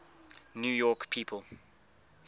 new york people